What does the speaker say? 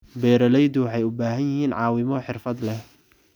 Beeraleydu waxay u baahan yihiin caawimo xirfad leh.